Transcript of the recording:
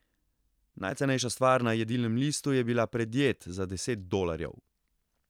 Najcenejša stvar na jedilnem listu je bila predjed za deset dolarjev.